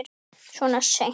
Svona seint?